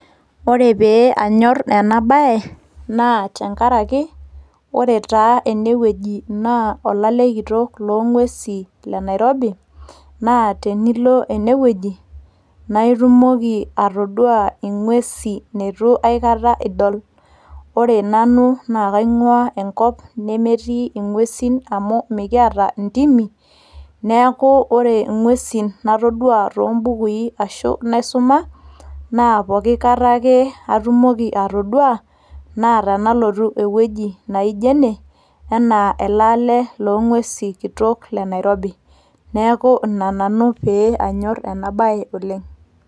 ore pee anyorr ena baye naa tenkaraki ore taa enewueji naa olale kitok loong'uesi le Nairobi naa tenilo enewueji naa itumoki atodua ing'uesi neitu aikata idol wore nanu naa kaing'ua enkop nemetii ing'uesin amu mikiata intimi neeku ore ing'uesin natodua toombukui ashu naisuma naa poki kata ake atumoki atodua naa tenalotu ewueji naijo ene enaa ele ale kitok loo ng'usei le nairobi.